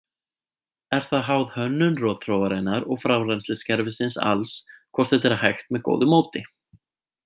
Er það háð hönnun rotþróarinnar og frárennsliskerfisins alls hvort þetta er hægt með góðu móti.